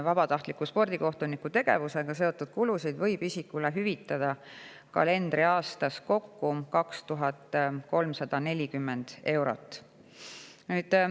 Vabatahtliku spordikohtuniku tegevusega seotud kulusid võib isikule hüvitada kalendriaastas kokku 2340 eurot.